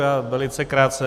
Já velice krátce.